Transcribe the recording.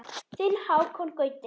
Þinn Hákon Gauti.